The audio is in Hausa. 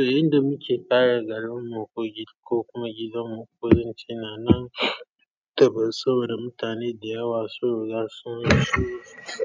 Eh, inda muke kare garin mu ko kuma gidan mu ko dance na nan daban saboda mutane da yawa sun riga sun so